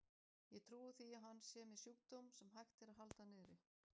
Ég trúi því að hann sé með sjúkdóm, sem hægt er að halda niðri.